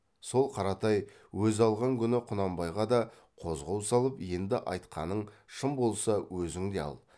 сол қаратай өзі алған күні құнанбайға да қозғау салып енді айтқаның шын болса өзің де ал